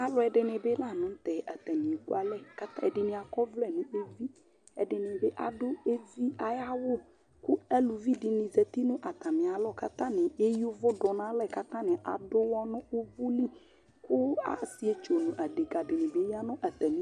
ɑlωɛɖiŋibi lɑɲωtẽ ɑtɑŋiɛkωɑlẽ ɛɖiŋiɑkɔvlɛ ɲɛfi ɛɖiɲibi ɑɖω ɛvi ɑyɑwω ɛɖiɲizɑti ɲω ɑtɑmiɑlɔ kɑtɑŋi ɛyωvω ɗωɲɑlẽ kɑtɑŋi ɑɖωwɔ nωvωli ɑsiɛtsu ɑɖɛkɑɖibi ŋibi yɑŋɑtɑmi